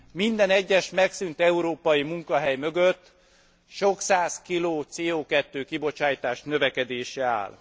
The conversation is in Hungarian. Minden egyes megszűnt európai munkahely mögött sok száz kiló CO 2 kibocsátás növekedése áll.